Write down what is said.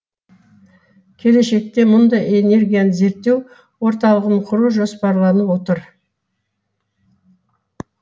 келешекте мұнда энергияны зерттеу орталығын құру жоспарланып отыр